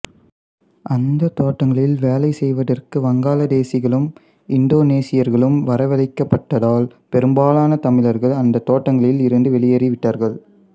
அந்தத் தோட்டங்களில் வேலை செய்வதற்கு வங்காளதேசிகளும் இந்தோனேசியர்களும் வரவழைக்கப் பட்டதால் பெரும்பாலான தமிழர்கள் அந்தத் தோட்டங்களில் இருந்து வெளியேறி விட்டார்கள்